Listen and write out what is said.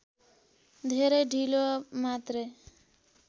धेरै ढिलो मात्रै